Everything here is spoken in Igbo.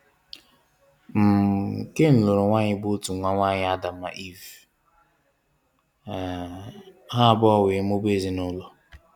um Cain lụrụ nwaanyị bụ otu nwa nwaanyị Adam na Eve. um Ha abụọ wee mụbaa ezinụlọ.